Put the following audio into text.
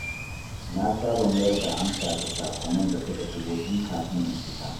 Na saba mayar da amsa ga saƙonnin da suka shigo tun kafin in fita.